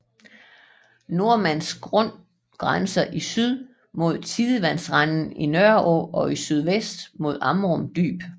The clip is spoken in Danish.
Nordmands Grund grænser i syd mod tidevandsrenden Nørreå og i sydvest mod Amrum Dyb